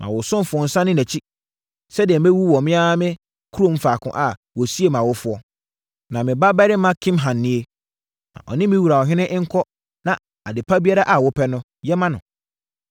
Ma wo ɔsomfoɔ nsane nʼakyi, sɛdeɛ mɛwu wɔ me ara me kurom faako a wɔsiee mʼawofoɔ. Na me babarima Kimham nie. Ma ɔne me wura ɔhene nkɔ na ade pa biara a wopɛ no, yɛ ma no.”